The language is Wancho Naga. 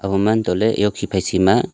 oman tohle e hukhi phai shi ma--